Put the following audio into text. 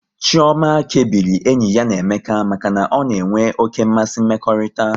Chioma kebiri enyi ya na Emeka maka na ọ na-enwe oké mmasị mmekọrịta